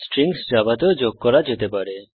strings জাভাতেও যোগ করা যেতে পারে